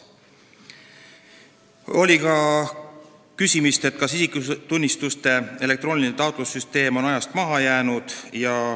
Oli ka küsimus, kas isikutunnistuste elektrooniline taotlussüsteem on ajast maha jäänud.